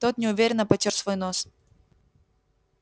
тот неуверенно потёр свой нос